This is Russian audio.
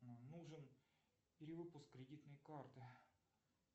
нужен перевыпуск кредитной карты